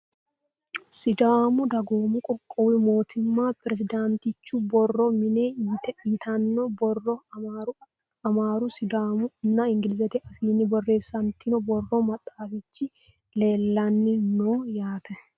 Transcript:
Sidaamu dagommu qoqqowu mootimma pirezidaantichu borro mine yittanno borro amaaru, sidaamu nna ingilizete afiinni borreessanitinno borro maxxafichi leelanni noo yaatte